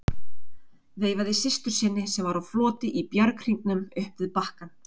Veifaði systur sinni sem var á floti í bjarghringnum upp við bakkann.